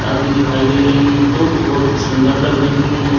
आदि दिखाई दे रही है जो की बहुत ही सुन्दर लग रही है।